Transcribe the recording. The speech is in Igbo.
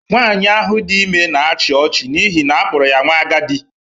Nwaanyị ahụ dị ime na-achị ọchị n'ihi na a kpọrọ ya nwa agadi.